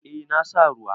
Eh na sa ruwa.